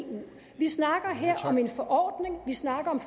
vi snakker her om en forordning vi snakker om